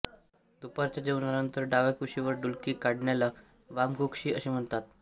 दुपारच्या जेवणानंतर डाव्याकुशीवर डुलकी काढण्याला वामकुक्षी असे म्हणतात